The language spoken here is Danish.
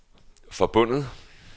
forbundet